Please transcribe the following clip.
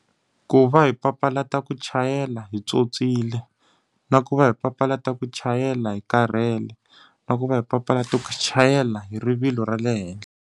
Ku va hi papalata ku chayela hi pyopyile, na ku va hi papalata ku chayela hi karhele, na ku va hi papalata ku chayela hi rivilo ra le henhla.